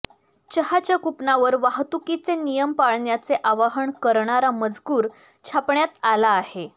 चहाच्या कुपनावर वाहतुकीचे नियम पाळण्याचे आवाहन करणारा मजकूर छापण्यात आला आहे